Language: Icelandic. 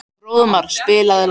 Fróðmar, spilaðu lag.